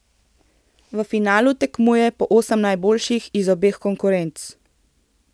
V finalu tekmuje po osem najboljših iz obeh konkurenc.